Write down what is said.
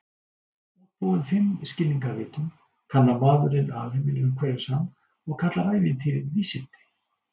Útbúinn fimm skilningarvitum, kannar maðurinn alheiminn umhverfis hann og kallar ævintýrin vísindi.